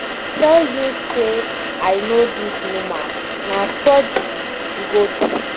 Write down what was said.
I tell you say I know dis woman. Na surgery she go do.